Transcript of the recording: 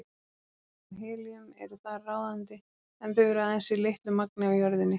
Vetni og helíum eru þar ráðandi en þau eru aðeins í litlu magni á jörðinni.